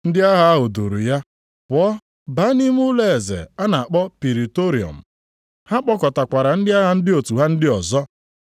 Ndị agha ahụ duuru ya pụọ baa nʼime ụlọeze a na-akpọ Pritoriọm. Ha kpọkọtakwara ndị agha ndị otu ha ndị ọzọ.